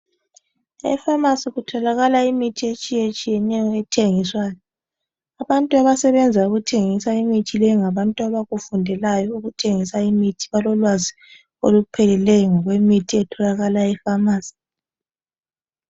Efamasi kutholakala imithi etshiyetshiyeneyo ethengiswayo. Abantu abasebenza ukuthengisa imithi leyi ngabantu abakufundelayo ukuthengisa imithi balolwazi olupheleyo ngokwemithi ethengiswa efamasi.